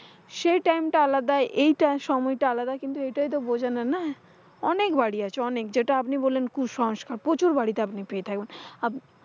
সেই time টা আলাদা এই টা সময়টা আলাদা। এইটা তো বঝানোর না? অনেক বাড়ি আছে অনেক যেটা আপনি বললেন কুসংস্কার। প্রচুর বাড়িতে আপনি পেয়ে থাকবেন। আপনি,